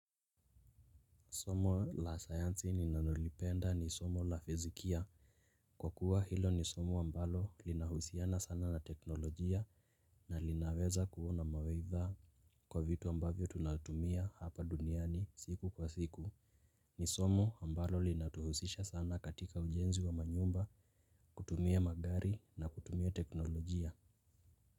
Somo la sayansi ninanolipenda ni somo la fizikia kwa kuwa hilo ni somo ambalo linahusiana sana na teknolojia. Na linaweza kuwa na mawaidha kwa vitu ambavyo tunatumia hapa duniani siku kwa siku. Ni somo ambalo linatuhusisha sana katika ujenzi wa manyumba kutumia magari na kutumia teknolojia.